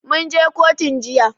Mun je kotun jiya.